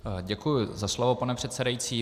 Děkuji za slovo, pane předsedající.